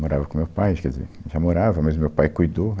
Morava com o meu pai, quer dizer, já morava, mas o meu pai cuidou.